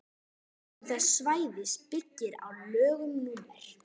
afmörkun þess svæðis byggir á lögum númer